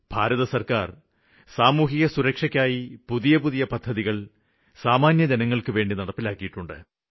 ഭാരത സര്ക്കാര് സാമൂഹികസുരക്ഷയ്ക്കായി പുതിയ പുതിയ പദ്ധതികള് സാമാന്യ ജനങ്ങള്ക്കുവേണ്ടി നടപ്പിലാക്കിയിട്ടുണ്ട്